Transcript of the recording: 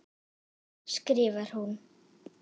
skrifar hún.